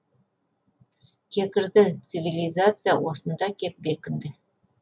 кекірді цвилизация осында кеп бекінді